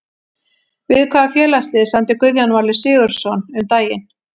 Við hvaða félagslið samdi Guðjón Valur Sigurðsson um daginn?